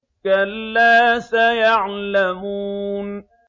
كَلَّا سَيَعْلَمُونَ